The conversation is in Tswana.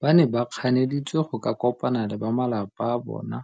Ba ne ba kganeditswe go ka kopana le ba malapa a bona,